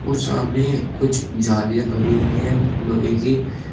और सामने कुछ जालीयां गड़ी हुई हैं लोहे की।